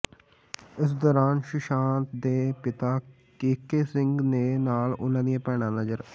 ਇਸ ਦੌਰਾਨ ਸੁਸ਼ਾਂਤ ਦੇ ਪਿਤਾ ਕੇਕੇ ਸਿੰਘ ਦੇ ਨਾਲ ਉਨ੍ਹਾਂ ਦੀਆਂ ਭੈਣਾਂ ਨਜ਼ਰ